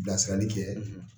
Bilasirali kɛ